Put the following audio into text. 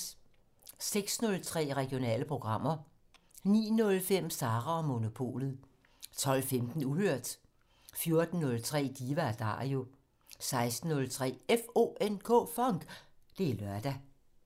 06:03: Regionale programmer 09:05: Sara og Monopolet 12:15: Uhørt 14:03: Diva & Dario 16:03: FONK! Det er lørdag